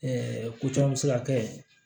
ko caman bɛ se ka kɛ